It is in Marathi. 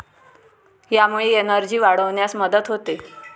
यामुळे एनर्जी वाढवण्यास मदत होते.